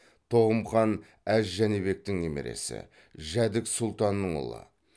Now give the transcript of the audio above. тоғым хан әз жәнібектің немересі жәдік сұлтанның ұлы